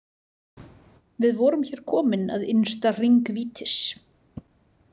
Við vorum hér komin að innsta hring vítis.